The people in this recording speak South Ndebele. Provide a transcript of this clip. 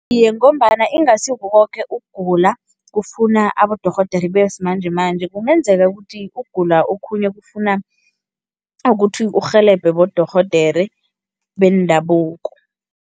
Iye, ngombana ingasi kukoke ukugula kufuna abodorhodere besimanjemanje, kungenzeka ukuthi ukugula okhunye kufuna ukuthi urhelebhe bodorhodere bendabuko.